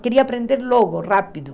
Queria aprender logo, rápido.